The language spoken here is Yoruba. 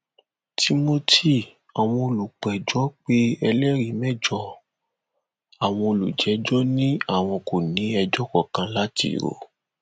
timothy àwọn olùpẹjọ pé ẹlẹrìí mẹjọ àwọn olùjẹjọ ni àwọn kò ní ẹjọ kankan láti rò